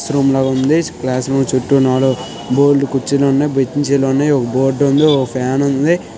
Class room లాగా ఉంది. Class room చుట్టూ బోలెడు కుర్చీలు ఉన్నాయి బెంచీ లు ఉన్నాయి. ఒక బోర్డు ఉంది. ఒక ఫ్యాన్ ఉంది.